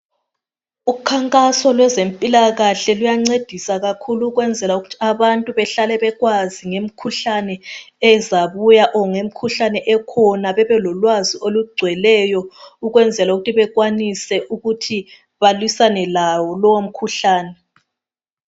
Ukhankaso lwempilakahle luyancedisa okwenzela ukuthi sbantu bahlale bekwazi ngemikhuhlane ezabuya or ngemikhuhlane ekhona . Bebelolwazi olugcweleyo ukwenzela ukuthi bekwanise ukuthi balwisane lawo lowo mkhuhlane